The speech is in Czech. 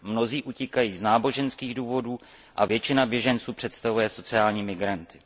Mnozí utíkají z náboženských důvodů a většina běženců pak představuje sociální migranty.